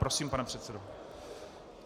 Prosím, pane předsedo.